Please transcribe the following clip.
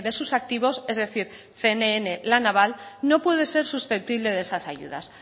sus activos es decir cnn la naval no puede ser susceptible de esas ayudas